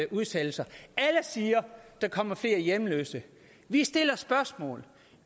udsættelser alle siger at der kommer flere hjemløse vi stiller spørgsmål